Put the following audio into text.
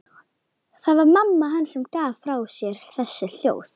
Það var mamma hans sem gaf frá sér þessi hljóð.